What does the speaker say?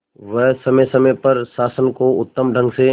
वह समय समय पर शासन को उत्तम ढंग से